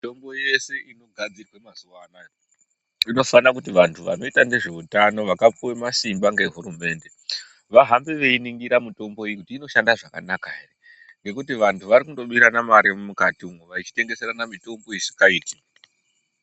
Mitombo yese inogadzirwa muzvibhehleya inofana kuti vantu vanoita nezveutano vakapihwa masimba ngehurumende vahambe veyiningira mitombo kuti noshanda zvakanaka here ngekuti vantu vakungobirana mari mukati umh vachitengeserana mitombo isingaiti